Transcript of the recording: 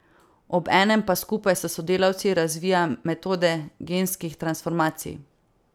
Obenem pa skupaj s sodelavci razvija metode genskih transformacij.